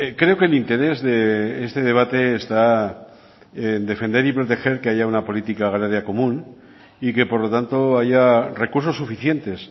creo que el interés de este debate está en defender y proteger que haya una política agraria común y que por lo tanto haya recursos suficientes